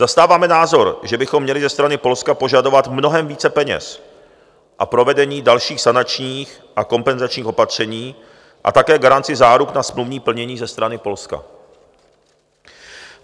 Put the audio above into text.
Zastáváme názor, že bychom měli ze strany Polska požadovat mnohem více peněz a provedení dalších sanačních a kompenzačních opatření a také garanci záruk na smluvní plnění ze strany Polska.